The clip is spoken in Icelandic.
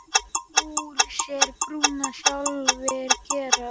Úr sér brúna sjálfir gera.